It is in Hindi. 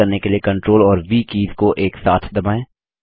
पेस्ट करने के लिए CTRL और व कीज़ को एक साथ दबाएँ